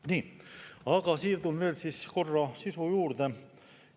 Nii, aga siirdun veel korra sisu juurde.